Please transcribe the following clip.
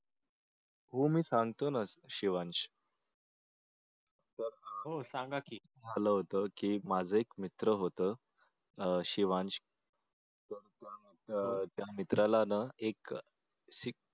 हो मी सांगतो ना शिवांश माझ एक मित्र होता शिवांश तर त्या मित्राला ना एक एक